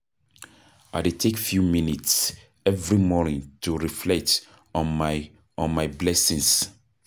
I dey take few minutes every morning to reflect on my on my blessings.